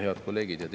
Head kolleegid!